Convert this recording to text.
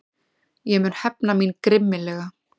Ég mun hefna mín grimmilega.